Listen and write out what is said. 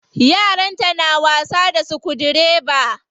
Yaranta na wasa da sukudireba.